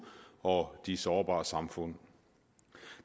og de sårbare samfund